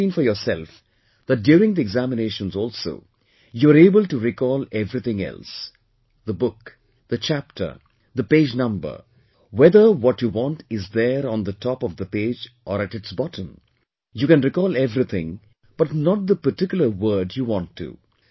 You must have seen for yourself that during the examinations also, you're able to recall everything else the book, the chapter, the page number, whether what you want is there on the top of the page or at its bottom, you can recall everything but not the particular word you want to